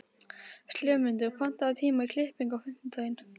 slefmundur, pantaðu tíma í klippingu á fimmtudaginn.